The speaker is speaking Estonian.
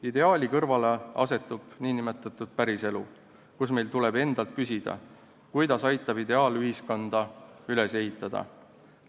Ideaali kõrvale asetub nn päris elu, kus meil tuleb endalt küsida, kuidas aitan ideaalühiskonda üles ehitada.